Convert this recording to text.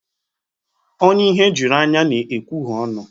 Onye ihe juru anya na-ekwuhie onu.